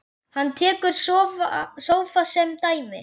Hann tekur sófa sem dæmi.